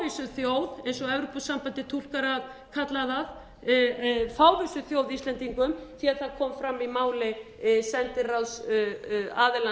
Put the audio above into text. þjóð eins og evrópusambandið túlkar að kalla það fávísu þjóð íslendingum því að það kom fram í máli sendiráðsaðilans hér í